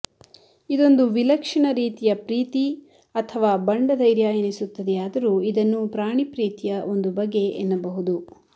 ಇದೊಂದು ವಿಲಕ್ಷಣ ರೀತಿಯ ಪ್ರೀತಿ ಅಥವಾ ಬಂಡ ಧೈರ್ಯ ಎನಿಸುತ್ತದೆಯಾದರೂ ಇದನ್ನು ಪ್ರಾಣಿ ಪ್ರೀತಿಯ ಒಂದು ಬಗೆ ಎನ್ನಬಹುದು